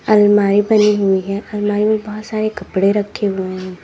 अलमारी बनी हुई है अलमारी में बहुत सारे कपड़े रखे हुए हैं।